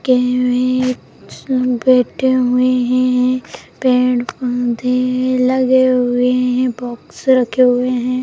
के वे सब बेठे हुए हैं पेड़-पौधे हैं लगे हुए हैं बॉक्स रखे हुए हैं।